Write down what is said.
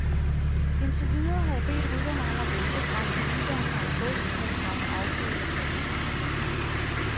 Indtil videre har jeg bedt rytterne om at vente frem til udgangen af august med at træffe aftaler til anden side.